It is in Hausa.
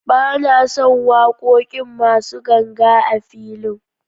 Ba na son waƙoƙin masu ganga a filin.